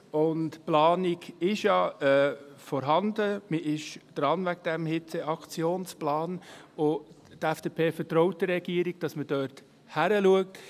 Die Planung ist ja vorhanden, man ist dran, an diesem Hitzeaktionsplan, und die FDP vertraut der Regierung, dass man dort hinschaut.